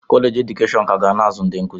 Kọleji edukeshọn ka ga na-azụ ndị nkụzi.